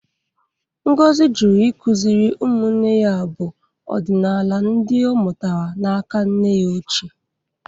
Ngozi jụrụ ikuziri umunne ya abụ ọdinala ndị ọ mụtara n'aka nne ya ochie.